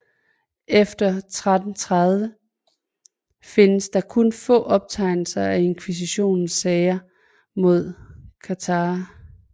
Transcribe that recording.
Efter 1330 findes der kun få optegnelser om Inkvisitionens sager mod katharer